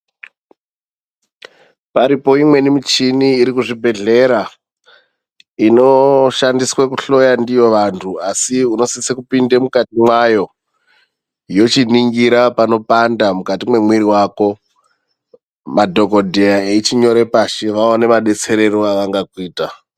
Paripo muchini imweni iri kuzvibhehlera inoshandiswa kuhloya ndiyo vantu asi unosisa kupinda mukati mayo yochiningira panopanda mukati memoyo mako madhokodheya echinyora pashi madetserero avangakuita.